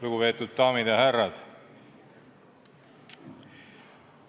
Lugupeetud daamid ja härrad!